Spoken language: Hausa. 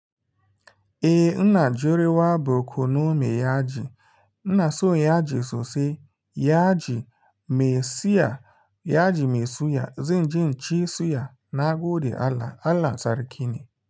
Eh, ina jurewa borkono me yaji. Ina so yaji sosai. Yaji mai siya, yaji mai suya. Zanje inci suya na gode Allah, Allah Sarki ne.